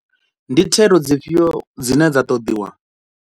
Ndi thero dzifhio dzine dza ṱoḓiwa?